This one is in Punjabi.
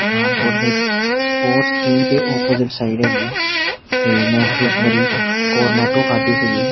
ਪਠਾਨਕੋਟ ਦੇ ਵਿੱਚ ਸਪੋਰਟਸ ਕਿੰਗ ਦੇ ਓਪੋਜ਼ਿਟ ਸਾਈਡ ਹੈਗੀ ਆ ਤੇ ਮੈਂ ਇੱਥੇ ਇੱਕ ਵਾਰੀ ਕੋਰਨੈਟੋ ਖਾਦੀ ਸੀਗੀ।